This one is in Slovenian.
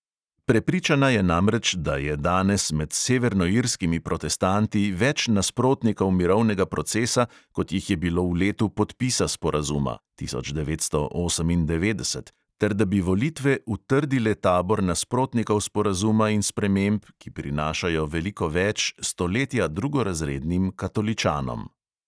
Prepričana je namreč, da je danes med severnoirskimi protestanti več nasprotnikov mirovnega procesa, kot jih je bilo v letu podpisa sporazuma (tisoč devetsto osemindevetdeset) ter da bi volitve utrdile tabor nasprotnikov sporazuma in sprememb, ki prinašajo veliko več stoletja drugorazrednim katoličanom.